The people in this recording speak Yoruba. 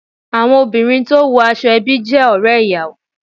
Àwọn obìnrin tó wo aṣọ ẹbí jé òré ìyàwó